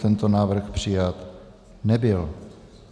Tento návrh přijat nebyl.